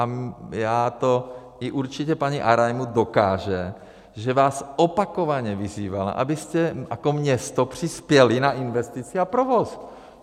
A já to určitě, i paní Arajmu dokáže, že vás opakovaně vyzývala, abyste jako město přispěli na investici a provoz.